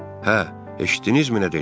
Hə, eşitdinizmi nə dedi?